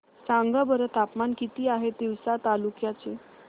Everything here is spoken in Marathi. सांगा बरं तापमान किती आहे तिवसा तालुक्या चे